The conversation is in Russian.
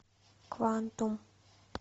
квантум